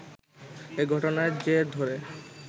এ ঘটনার জের ধরে